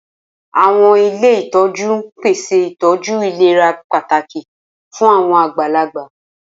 Awọn ile itọju n pese itọju ilera pataki fun awọn agbalagba.